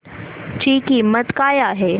ची किंमत काय आहे